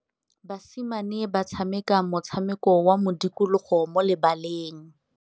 Basimane ba tshameka motshameko wa modikologô mo lebaleng.